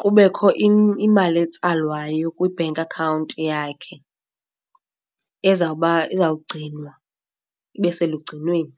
kubekho imali etsalwayo kwi-bank account yakhe ezawugcinwa ibe selugcinweni.